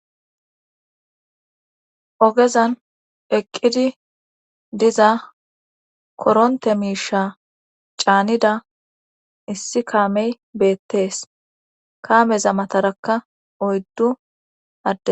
Ogezan eqqidi diza koronte miisha caanida issi kaamey beettees kaameza matarakka oyddu adde